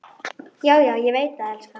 Já, já, ég veit það, elskan.